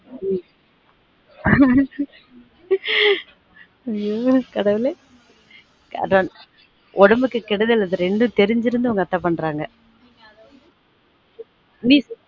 உம் ஐய்யொ கடவுளே அதான் உடம்புக்கு கேடுதல் அந்த ரெண்டும் தெரிஞ்சுருந்தும் உங்க அத்தை பண்றாங்க